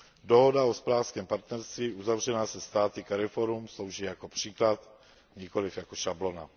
Dohoda o hospodářském partnerství uzavřená se státy CARIFORUM slouží jako příklad, nikoliv jako šablona.